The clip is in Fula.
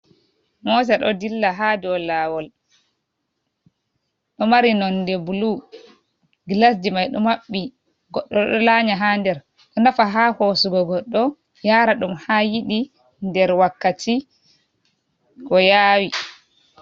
Mota do dilla ha do lawol, ɗo mari nonde blu, glasji mai ɗo maɓɓi goddo ɗo lanyi ha der ɗo nafa ha hosugo goɗɗo yara ɗum ha yidi nder wakkati ko yawi.